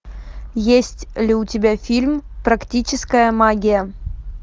есть ли у тебя фильм практическая магия